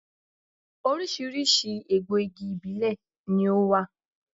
Oríṣiríṣi egbò igi ìbílè ni ó wà